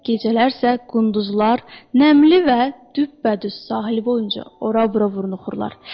Gecələr sə qunduzlar, nəmli və düpbədüz sahil boyunca ora-bura vuruxurlar.